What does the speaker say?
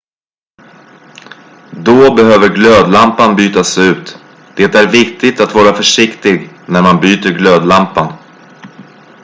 då behöver glödlampan bytas ut det är viktigt att vara försiktig när man byter glödlampan